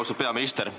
Austatud peaminister!